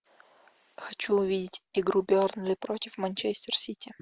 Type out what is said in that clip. хочу увидеть игру бернли против манчестер сити